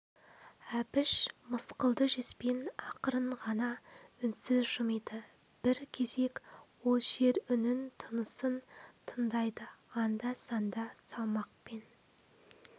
әбіш мысқылды жүзбен ақырын ғана үнсіз жымиды бір кезек ол жер үнін тынысын тындайды анда-санда салмақпен